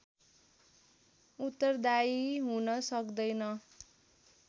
उत्तरदायी हुन सक्दैन